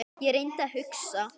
Ég reyndi að hugsa.